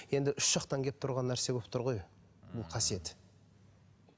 енді үш жақтан келіп тұрған нәрсе болып тұр ғой бұл қасиет